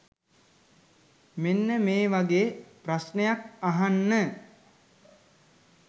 මෙන්න මේ වගේ ප්‍රශ්නයක් අහන්න.